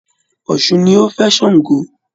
Ọ̀ṣun ni ó fẹ́ Sango